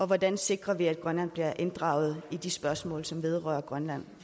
hvordan sikrer vi at grønland fremadrettet bliver inddraget i de spørgsmål som vedrører grønland